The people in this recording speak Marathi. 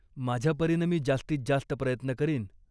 माझ्यापरीनं मी जास्तीत जास्त प्रयत्न करीन.